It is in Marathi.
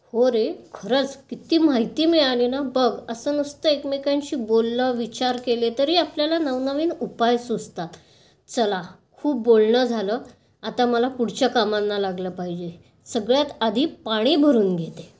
हो रे. खरच. किती माहिती मिळाली ना. बघ, असं नुसते एकमेकांशी बोललं, विचार केले तरी आपल्याला नवनवीन उपाय सुचतात. चला, खूप बोलणं झालं. आता मला पुढच्या कामांना लागलं पाहिजे. सगळ्यात आधी पाणी भरून घेते.